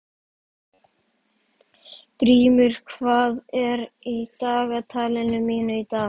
Grímur, hvað er í dagatalinu mínu í dag?